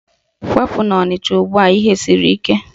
Kwapụ n'Ọnịcha ugbua ihe siri ike!